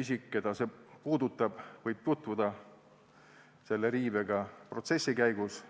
isik, keda see puudutab, võib tutvuda selle riivega protsessi käigus.